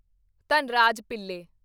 Dhanraj Pillay